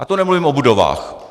A to nemluvím o budovách.